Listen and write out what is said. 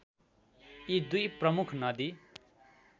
यी दुई प्रमुख नदी